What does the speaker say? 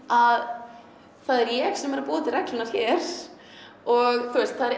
að það er ég sem er að búa til reglurnar hér og